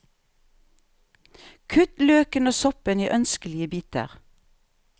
Kutt løken og soppen i ønskelige biter.